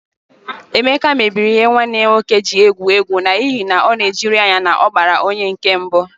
Emeka mebiri ihe nwanne ya nwoke ji egwu égwú n'ihi na ọ na-ejiri ya anya na ọ gbara onye nke mbụ